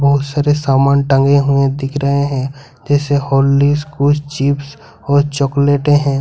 बहुत सारे सामान टांगे हुए दिख रहे है जैसे कुछ चिप्स और चाकलेटे है।